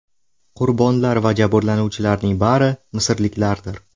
Qurbonlar va jabrlanuvchilarning bari misrliklardir.